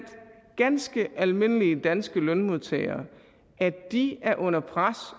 ganske almindelige danske lønmodtagere af at de er under pres